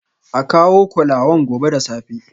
A kawo kolawan gobe da safe